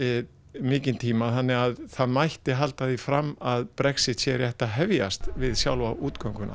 mikinn tíma þannig að það mætti halda því fram að Brexit sé rétt að hefjast við sjálfa